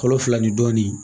Kalo fila ni dɔɔnin